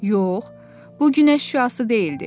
Yox, bu günəş şüası deyildi.